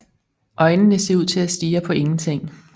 Øjnene ser ud til at stirre på ingenting